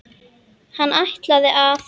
Hann ætlaði að.